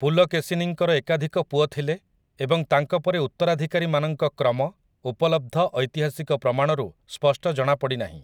ପୁଲକେଶୀନୀଙ୍କର ଏକାଧିକ ପୁଅ ଥିଲେ ଏବଂ ତାଙ୍କ ପରେ ଉତ୍ତରାଧିକାରୀମାନଙ୍କ କ୍ରମ, ଉପଲବ୍ଧ ଐତିହାସିକ ପ୍ରମାଣରୁ, ସ୍ପଷ୍ଟ ଜଣାପଡ଼ିନାହିଁ ।